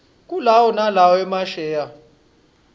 kulawo nalowo emasheya